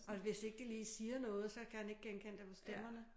Og hvis ikke de lige siger noget så kan han ikke genkende dem på stemmerne